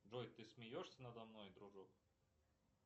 джой ты смеешься надо мной дружок